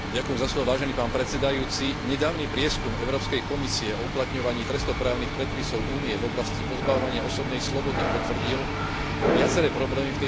Nedávny prieskum Európskej komisie o uplatňovaní trestnoprávnych predpisov Únie v oblasti pozbavovania osobnej slobody potvrdil viaceré problémy v tejto oblasti v členských krajinách.